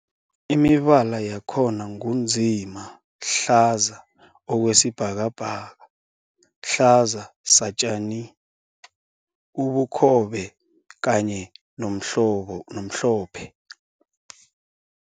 Imibala yakhona ngu nzima, hlaza okwesibhakabhaka, hlaza satjani, ubukhobe kanye nomhlophe.